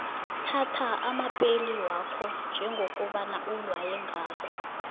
thatha amapeli wakho njengokobana ulaywe ngayo